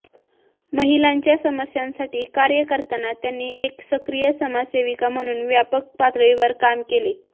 महिलांच्या समस्यांसाठी कार्य करताना त्यांनी एक सक्रिय समाजसेविका म्हणून व्यापक पातळीवर काम केले